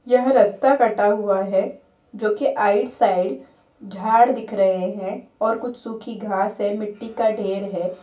यह रास्ता कटा हुआ है जो की आइड साइड झाड़ दिख रहे है और कुछ सूखी घास है मिट्टी का ढ़ेर है।